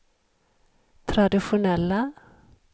traditionella